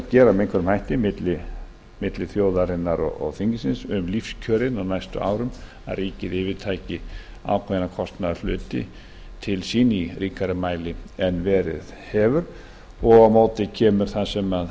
gera þarf milli þjóðarinnar og þingsins um lífskjör á næstu árum að ríkið yfirtaki ákveðna kostnaðarhluti í ríkari mæli en verið hefur á móti kemur það sem